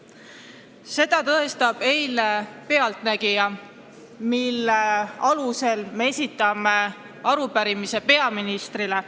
Seda tõestab eilne "Pealtnägija", mille alusel me esitame arupärimise peaministrile.